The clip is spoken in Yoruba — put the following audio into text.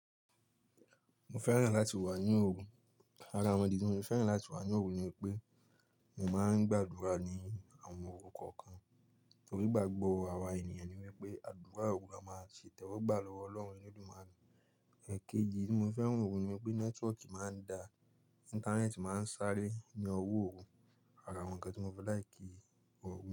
Mo fẹ́ràn láti wà ní òru. Ara awon idi tí mo fi fẹ́ràn láti wà ní òru ni pé mo máa ń gbàdúrà ní àwọn òru kọ̀ọ̀kan. Nítorí ìgbàgbọ́ àwa ènìyàn ni wípé àdúrà òru a máa ṣe ìtẹ́wọ́gbà lọ́wọ́ Ọlọ́run Eledumare Ẹ̀keji tí mo fo fẹ́ràn òruni wípé nẹ́tíwọ́kì máa ń da, Íńtánẹ́ẹ̀tì máa ń sáré ní ọwọ́ òru. Ara awon ǹkan tí mo fẹ́ láì kí òru.